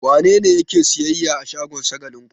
Wane ne yake sayyayya a shagon Shagalinku?